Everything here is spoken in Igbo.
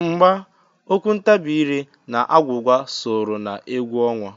Mgba, okwu ntabi ire na agwụgwa sooro na egwu ọnwa.